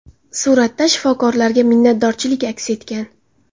Suratda shifokorlarga minnatdorchilik aks etgan.